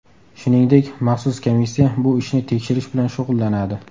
Shuningdek, maxsus komissiya bu ishni tekshirish bilan shug‘ullanadi.